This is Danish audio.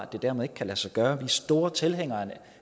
det dermed ikke kan lade sig gøre vi er store tilhængere af en